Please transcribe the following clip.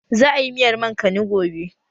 Za a yi miyar mankani gobe